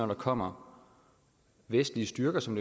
der kommer vestlige styrker som